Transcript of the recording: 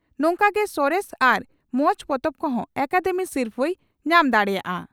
ᱱᱚᱝᱠᱟᱜᱮ ᱥᱚᱨᱮᱥ ᱟᱨ ᱢᱚᱸᱡᱽ ᱯᱚᱛᱚᱵ ᱠᱚᱦᱚᱸ ᱟᱠᱟᱫᱮᱢᱤ ᱥᱤᱨᱯᱷᱟᱹᱭ ᱧᱟᱢ ᱫᱟᱲᱮᱭᱟᱜᱼᱟ ᱾